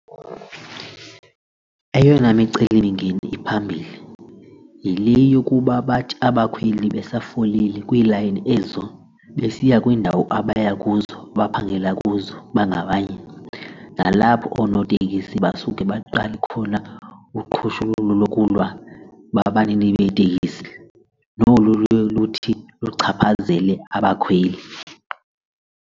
Eyona micelimngeni iphambili yile yokuba bathi abakhweli besafolile kwiilayini ezo besiya kwiindawo abaya kuzo baphangela kuzo bangabanye nalapho oonotekisi basuke baqale khona uqhushululu lokulwa babanini beeteksi nolu luye luthi luchaphazele abakhweli.